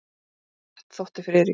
Of hratt, þótti Friðriki.